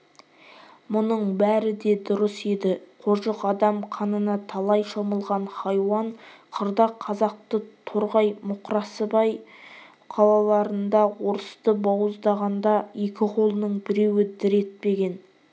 мұның бәрі де дұрыс еді қожық адам қанына талай шомылған хайуан қырда қазақты торғай моқрасыбай қалаларында орысты бауыздағанда екі қолының біреуі дір етпеген